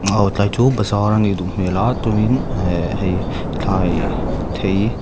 aw tlai chu bazar anih duh hmel a tunin e hei thlai thei.